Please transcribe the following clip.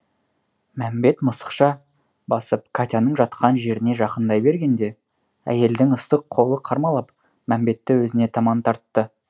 мәмбет мысықша басып катяның жатқан жеріне жақындай бергенде әйелдің ыстық қолы қармалап мәмбетті өзіне таман тартты